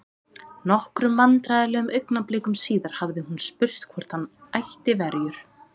Nokkrum vandræðalegum augnablikum síðar hafði hún spurt hvort hann ætti verjur?